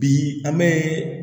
Bi an bɛ